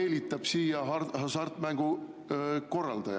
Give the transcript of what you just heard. Selles mõttes ei saa nendel olla ka negatiivset mõju 2023. aastal, juhin tähelepanu.